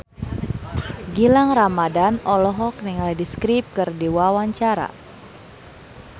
Gilang Ramadan olohok ningali The Script keur diwawancara